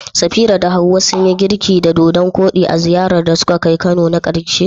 Safira da Hawwa sun yi girki da dodan koɗi a ziyarar da suka kai Kano na karshe?